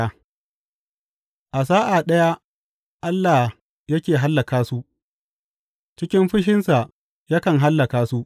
A sa’a ɗaya Allah yake hallaka su, cikin fushinsa yakan hallaka su.